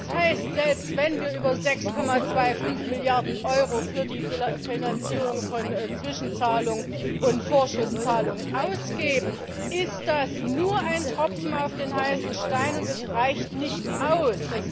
Das heißt, selbst wenn wir über 6,25 Milliarden Euro für die Finanzierung von Zwischenzahlungen und Vorschusszahlungen ausgeben, ist das nur ein Tropfen auf den heißen Stein, und es reicht nicht aus!